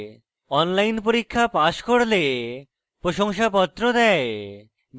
online পরীক্ষা pass করলে প্রশংসাপত্র দেয়